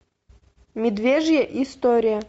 медвежья история